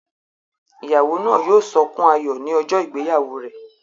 Ìyàwó náà yóò sọkún ayọ̀ ní ọjọ́ ìgbéyàwó rẹ̀